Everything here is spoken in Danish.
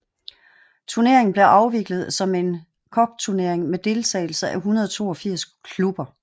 Turneringen blev afviklet som en cupturnering med deltagelse af 182 klubber